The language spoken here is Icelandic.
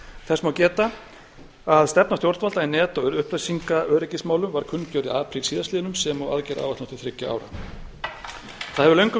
þess má geta að stefna stjórnvalda í net og öryggismálum var kunngerð í apríl síðastliðnum sem og aðgerðaáætlun til þriggja ára það hefur